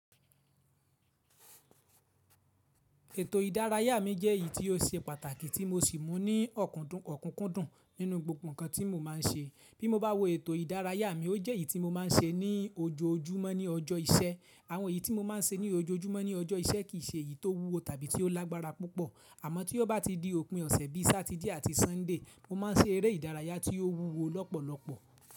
Ètò ìdárayá mi jèyí tí ó ṣe pàtàkì tí mo sì mú ní ọ̀kúndùn, ọ̀kúnkúndùn nínú gbogbo ǹkan tí mo máa ń ṣe. Bí mo bá wo ètò ìdárayá mi, ó jẹ́ èyí tí mo máa ń ṣe ní ojoojúmọ́ ní ọjọ́ iṣẹ́. Àwọn èyí tí mo máa ń ṣe ní ojoojúmọ́ ní ọjọ́ iṣẹ́ kì í ṣè eyí tó wúwo tàbí ti ó lágbára púpọ̀. Àmọ́ tí ó bá ti di òpin ọ̀sẹ̀ bíi Satide àti Sunday, mo máa ń ṣe eré ìdárayá tí ó wúwo lọ́pọ̀lọpọ̀.